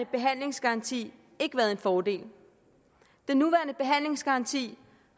behandlingsgaranti ikke været en fordel den nuværende behandlingsgaranti